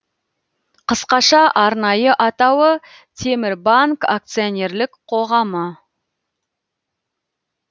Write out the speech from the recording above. қысқаша арнайы атауы темірбанк акционерлік қоғамы